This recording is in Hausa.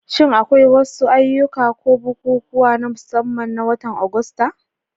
Shin akwai wasu ayyuka ko bukukuwa na musamman na watan Agusta?